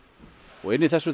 og inni í þessu